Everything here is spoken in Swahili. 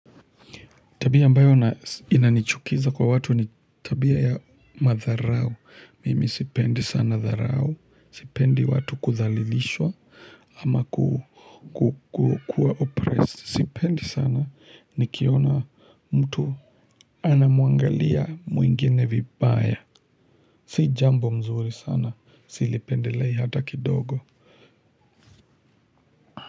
Tabia ambayo inanichukiza kwa watu ni tabia ya madharau. Mimi sipendi sana dharau. Sipendi watu kudhalilishwa ama kukua oppressed. Sipendi sana nikiona mtu anamuangalia mwingine vibaya. Si jambo mzuri sana. Silipendelei hata kidogo.